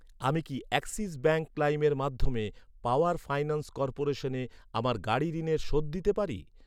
আমি কি Axis Bank লাইমের মাধ্যমে পাওয়ার ফাইন্যান্স কর্পোরেশনে আমার গাড়ি ঋণের শোধ দিতে পারি?